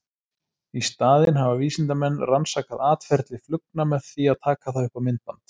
Í staðinn hafa vísindamenn rannsakað atferli flugna með því að taka það upp á myndband.